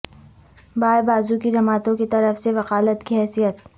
بائیں بازو کی جماعتوں کی طرف سے وکالت کی حیثیت